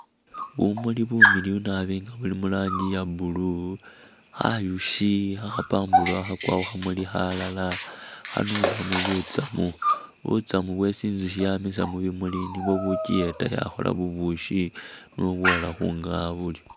Bumuli bumiliyu nabi nga buli mu rangi iya blue, khayushi khe khapamburukha khakwa khukhamuli khalala khanunemo butsamu, butsamu bwesi inzushi yamisa mubimuli nibwo bukyiyeta yakhola bubushi niyo bwola khunga'a buryo.